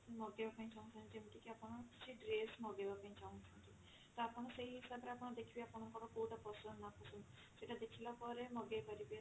ମଗେଇବା ପାଇଁ ଚାହୁଁଛନ୍ତି ଯେମତି କି ଆପଣ କିଛି dress ମଗେଇବା ପାଇଁ ଚାହୁଁଛନ୍ତି ତ ଆପଣ ସେଇ ହିସାବ ରେ ଆପଣ ଦେଖିବେ ଆପଣଙ୍କର କଉଟା ପସନ୍ଦ ନାପସନ୍ଦ ସେଇଟା ଦେଖିଲା ପରେ ମଗେଇ ପାରିବେ